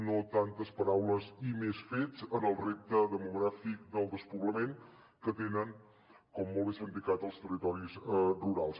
no tantes paraules i més fets en el repte demogràfic del despoblament que tenen com molt bé s’ha indicat els territoris rurals